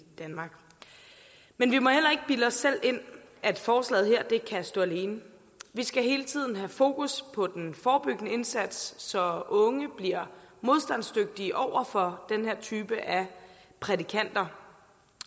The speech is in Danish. danmark men vi må heller ikke bilde os selv ind at forslaget her kan stå alene vi skal hele tiden have fokus på den forebyggende indsats så unge bliver modstandsdygtige over for den her type af prædikanter